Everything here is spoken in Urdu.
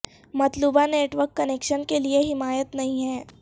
مطلوبہ نیٹ ورک کنکشن کے لئے حمایت نہیں ہے